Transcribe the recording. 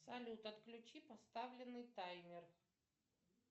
салют отключи поставленный таймер